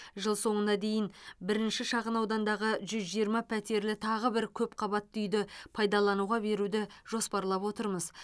жыл соңына дейін бірінші шағын аудандағы жүз жиырма пәтерлі тағы бір көпқабатты үйді пайдалануға беруді жоспарлап отырмыз